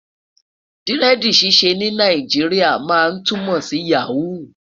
diredi ṣiṣẹ ní Nàìjíríà má túmọ sí yaho